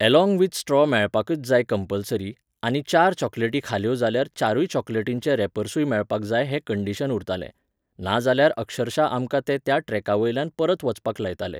Along with straw मेळपाकच जाय compulsory, आनी चार चॉकलेटी खाल्यो जाल्यार चारूय चॉकलेटींचे रेपर्सुय मेळपाक जाय हें कंडिशन उरतालें. नाजाल्यार अक्षरशा आमकां ते त्या ट्रॅकावयल्यान परत वचपाक लायताले.